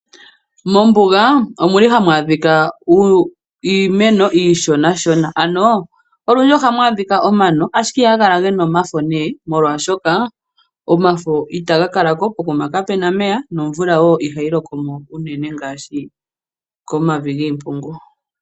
Mombuga omuli hamu adhika iimeno iishona shona ano olundji ohamu adhika omano ashike ihaga kala gena omafo molwashoka omafo itaga kalako pokuma kapuna omeya nomvula ihayi lokomo uunene ngaashi komavi giimpungu.